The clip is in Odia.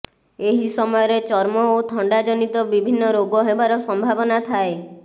ଏହି ସମୟରେ ଚର୍ମ ଓ ଥଣ୍ଡାଜନିତ ବିଭିନ୍ନ ରୋଗ ହେବାର ସମ୍ଭାବନା ରହିଥାଏ